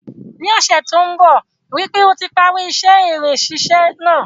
Ní ọ́sẹ̀ to n bo, rípe o ti parí isẹ́ irin sísẹ náà